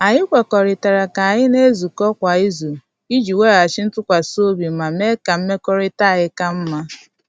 Anyị kwekuritala ka anyị na-ezukọta kwa izu iji weghachi ntụkwasị obi ma mee ka mmekọrịta anyị ka mma.